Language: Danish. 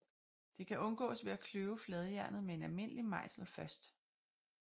Det kan undgås ved at kløve fladjernet med en almindelig mejsel først